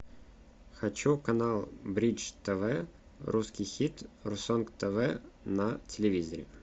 хочу канал бридж тв русский хит русонг тв на телевизоре